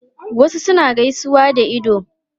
Wasu suna gaisuwa da ido